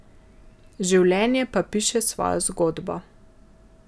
Življenje pa piše svojo zgodbo.